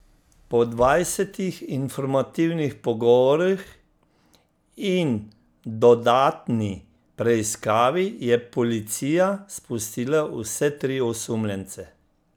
Po dvajsetih informativnih pogovorih in dodatni preiskavi je policija spustila vse tri osumljence.